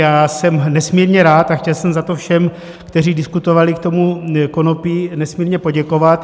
Já jsem nesmírně rád a chtěl jsem za to všem, kteří diskutovali k tomu konopí, nesmírně poděkovat.